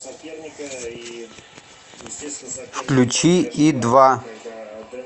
включи и два